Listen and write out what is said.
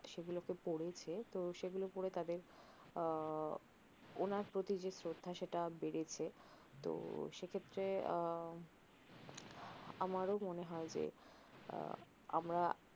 সেগুলকে পরেছে সেগুলো করে তাদের ওনার প্রতি যে স্রধা সেটা বেরেছে তহ সেক্ষেত্রে আমারও মনে হয় যে আমরা